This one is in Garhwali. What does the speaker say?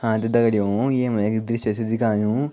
हाँ त दगडियों येम एक दृश्य छ दिखयुं ।